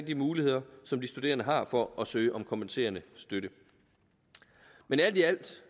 de muligheder som de studerende har for at søge om kompenserende støtte men alt i alt